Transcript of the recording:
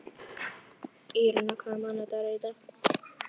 Þessir þrír auðnuleysingjar sitja þarna á veggnum.